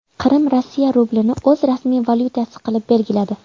Qrim Rossiya rublini o‘z rasmiy valyutasi qilib belgiladi.